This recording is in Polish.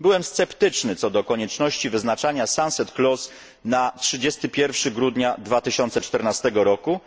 Byłem sceptyczny co do konieczności wyznaczania sunset clause na 31 grudnia 2014 roku,